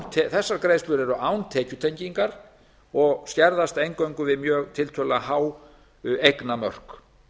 þessar greiðslur eru án tekjutengingar og skerðast eingöngu við tiltölulega há eignamörk